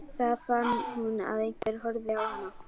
Þá fann hún að einhver horfði á hana.